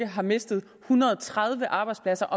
har mistet en hundrede og tredive arbejdspladser